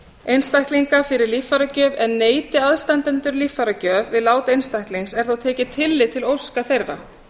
einstaklinga fyrir líffæragjöf en neiti aðstandendur líffæragjöf við lát einstaklings er þó tekið tillit til óska þeirra